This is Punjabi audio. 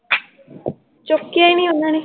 ਚੁਕਿਆ ਈ ਨੀ ਉਹਨਾਂ ਨੇ l